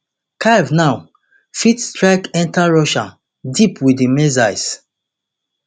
kyiv now fit strike enta russia deep wit di missiles